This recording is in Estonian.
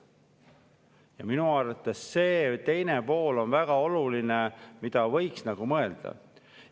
Ja minu arvates on see teine pool väga oluline, sellele võiks mõelda.